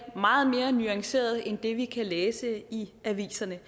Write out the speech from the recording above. meget mere nuanceret end det vi kan læse i aviserne